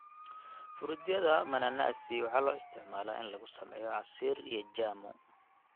Fruityada mananasi waxaa loo isticmaalaa in lagu sameeyo casiir iyo jamu.